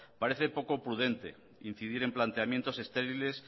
parece poco prudente incidir en planteamientos estériles